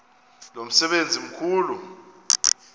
lo msebenzi mkhulu